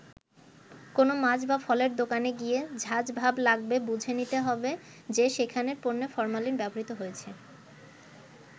কোনো মাছ বা ফলের দোকানে গিয়ে ঝাঁজ ভাব লাগবে বুঝে নিতে হবে যে সেখানের পণ্যে ফরমালিন ব্যবহৃত হয়েছে।